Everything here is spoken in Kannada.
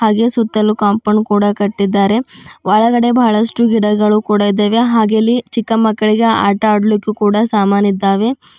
ಹಾಗೆ ಸುತ್ತಲೂ ಕಾಂಪೌಂಡ್ ಕೂಡ ಕಟ್ಟಿದ್ದಾರೆ ಒಳಗಡೆ ಬಹಳಷ್ಟು ಗಿಡಗಳು ಕೂಡ ಇದ್ದೇವೆ ಹಾಗೆ ಅಲ್ಲಿ ಚಿಕ್ಕ ಮಕ್ಕಳಿಗೆ ಆಟ ಆಡ್ಲಿಕು ಕೂಡ ಸಾಮಾನ್ಯಇದ್ದಾವೆ.